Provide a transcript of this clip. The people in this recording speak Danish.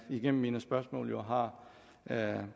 gennem mine spørgsmål jo har